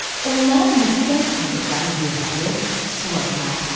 Onların məskən saldıqları yerləri suladılar.